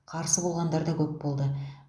қарсы болғандар да көп болды